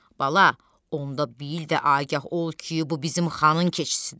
Bala, onda bil də agah ol ki, bu bizim xanın keçisidir.